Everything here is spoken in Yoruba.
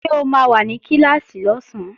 Ṣé o máa wà ní Kíláàsì lọ́sán?